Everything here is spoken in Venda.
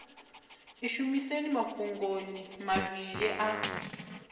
ḽi shumiseni mafhungoni mavhili a